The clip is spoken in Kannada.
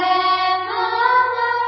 ವಂದೇಮಾತರಂ